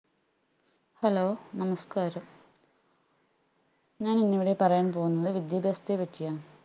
hello നമസ്കാരം ഞാൻ ഇന്ന് ഇവിടെ പറയാൻ പോവുന്നത് വിദ്യാഭ്യാസത്തെ പറ്റിയാണ്